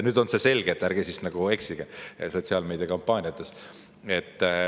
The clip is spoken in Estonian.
Nüüd on see selge ja ärge siis eksige oma sotsiaalmeediakampaaniates.